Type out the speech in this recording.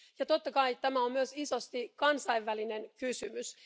Totta kai tämä on myös isosti kansainvälinen kysymys.